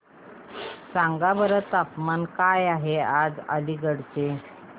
सांगा बरं तापमान काय आहे आज अलिगढ चे